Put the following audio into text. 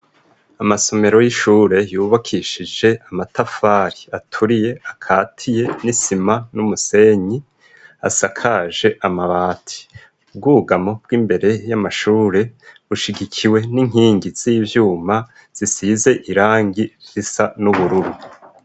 Amasomero y'ishure yubakishije amatafari aturiye, akatiye n'isima n'umusenyi, asakaje amabati . Ubwugamo bw'imbere y'amashure bushigikiwe n'inkingi z'ivyuma zisize irangi risa n'ubururu.